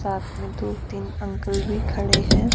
साथ में दो तीन अंकल भी खड़े हैं।